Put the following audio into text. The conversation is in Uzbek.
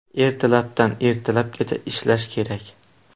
Ertalabdan ertalabgacha ishlash kerak.